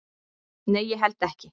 """Nei, ég held ekki."""